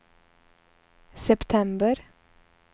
september